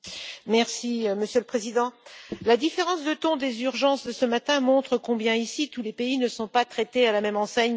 Monsieur le Président, la différence de ton des urgences de ce matin montre combien, ici, tous les pays ne sont pas traités à la même enseigne par certains.